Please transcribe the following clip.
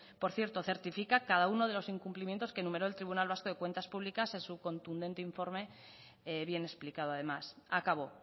por cierto certifica cada uno de los incumplimientos que enumeró el tribunal vasco de cuentas públicas en su contundente informe bien explicado además acabo